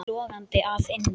Logandi að innan.